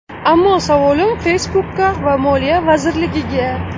Ammo savolim Facebook’ga va moliya vazirligiga.